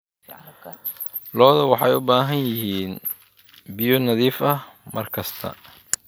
Lo'du waxay u baahan yihiin biyo nadiif ah mar kasta.